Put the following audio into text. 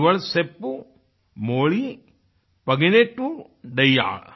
इवळ सेप्पु मोळी पधिनेट्टूडैयाळ